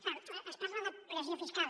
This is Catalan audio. clar es parla de pressió fiscal